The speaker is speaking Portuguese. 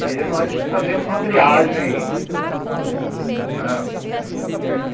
E nós fazíamos uma triagem, né.